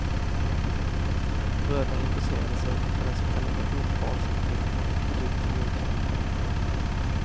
Bröderna intresserade sig för den så kallade rundbalshanteringen för drygt tio år sedan.